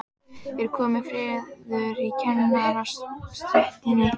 Er kominn friður í kennarastéttinni?